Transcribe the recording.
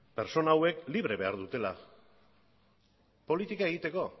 pertsona horiek libre behar dutela politika egiteko